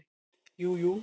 Jú jú